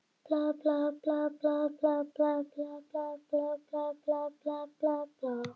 Afi beið með tvo hesta úti á hlaði og hjálpaði ömmu á bak.